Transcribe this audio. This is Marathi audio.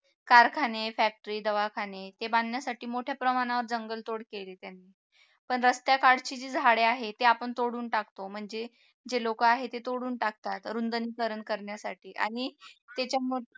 कारखाने factory दवाखाने ते बांधण्यासाठी मोठ्या प्रमाणावर जंगलतोड केली त्यांनी पण रस्त्याकडची जे झाडे आहेत ते आपण तोडून टाकतो म्हणजे जे लोक आहे ते तोडून टाकतात रुंदनीकरण करण्यासाठी आणि त्याच्यामुळे